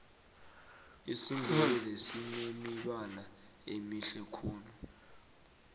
isindebele sinemibala emihle khulu